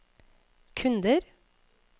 kunder